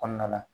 Kɔnɔna la